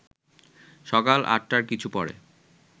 সকাল আটটার কিছু পরে